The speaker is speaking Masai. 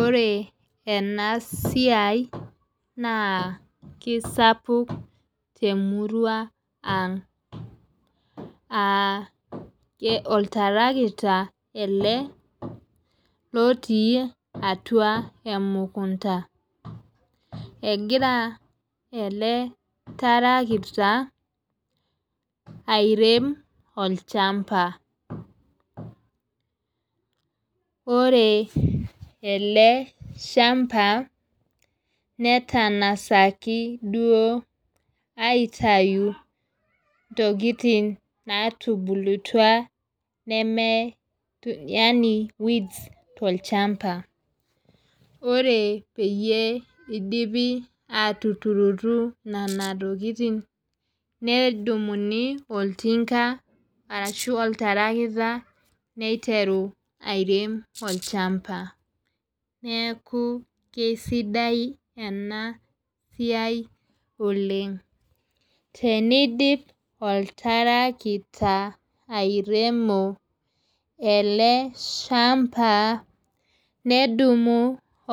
Ore ena siai naa kisapuk te murua ang'. Aa oltarakita ele lootii atua emukunta. Egira ele tarakita airem olchamba. Ore ele shamba netang'asaki duo aitayu intokitin natubulutua neme yaani weeds tolchamba. Ore peyie idipi atuturutu nena tokitin nedumuni oltinka arashu olatarakita neiteru airem olchamba. Neeku keisidai enaa siai oleng'. Tenidim oltarakita airemo ele shamba nedumu